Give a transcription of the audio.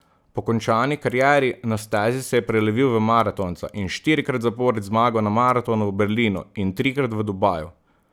Po končani karieri na stezi se je prelevil v maratonca in štirikrat zapored zmagal na maratonu v Berlinu in trikrat v Dubaju.